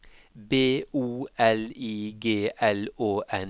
B O L I G L Å N